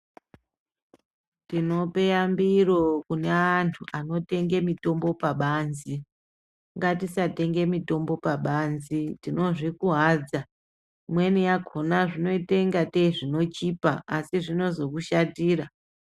Tinope yambiro kune anhu anotenge mitombo pabanzi, ngatisatenge mitombo pabanzi tinozvikuwadza ,imweni yakona zvinoita inga tei zvinochipa asi zvinozokushatira.